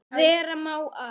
Vera má að